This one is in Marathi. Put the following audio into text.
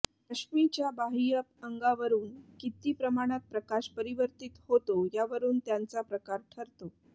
अश्मिच्या बाह्य अंगावरून किती प्रमाणात प्रकाश परिवर्तीत होतो यावरून त्यांचा प्रकार ठरतो